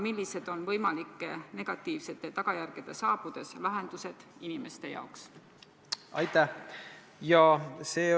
Millised on võimalike negatiivsete tagajärgede saabudes inimeste jaoks lahendused?